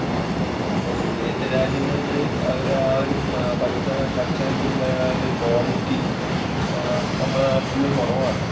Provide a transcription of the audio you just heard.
ഇപ്പോൾ വിദേശ രാജ്യങ്ങളില് അവർ ആ ഒരു ഭക്ഷണത്തിനുള്ള ആ ഒരു quality നമ്മുടെ നാട്ടിൽ കുറവാണ്.